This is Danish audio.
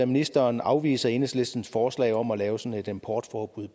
ministeren afviser enhedslistens forslag om at lave sådan et importforbud